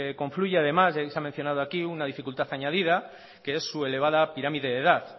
confluye además ya que se ha mencionado aquí una dificultad añadida que es su elevada pirámide de edad